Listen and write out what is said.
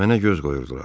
Mənə göz qoyurdular.